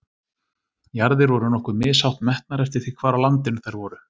Jarðir voru nokkuð mishátt metnar eftir því hvar á landinu þær voru.